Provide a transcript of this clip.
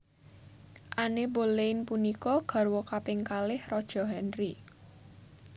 Anne Boleyn punika garwa kaping kalih Raja Henry